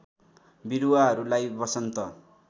बिरुवाहरूलाई बसन्त